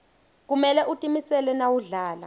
kumele utimisele nawudlala